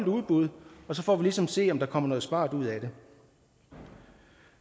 udbud og så får vi ligesom at se om der kommer noget smart ud af det